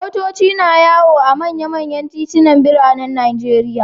Motoci na yawo a manyan titunan biranen Najeriya.